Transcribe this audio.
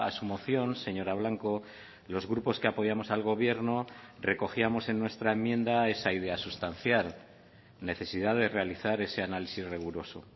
su moción señora blanco los grupos que apoyamos al gobierno recogíamos en nuestra enmienda esa idea sustancial necesidad de realizar ese análisis riguroso